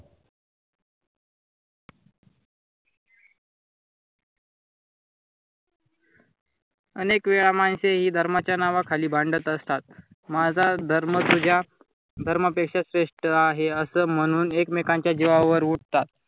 अनेक वेळा माणसे हि धर्माच्या नावाखाली भांडत असतात. माझा धर्म तुझ्या धर्मापेक्षा श्रेष्ठ आहे असं म्हणून एकमेकांच्या जीवावर उठतात.